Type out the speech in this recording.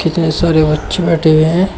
कीतने सारे बच्चे बैठे हुए हैं।